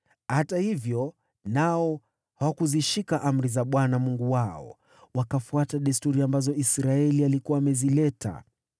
na hata hivyo nao Yuda hawakuzishika amri za Bwana Mungu wao. Wakafuata desturi ambazo Israeli walikuwa wamezianzisha.